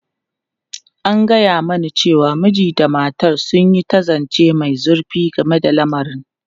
An gaya mani cewa mijin da matar sun yi ta zance mai zurfi game da lamarin.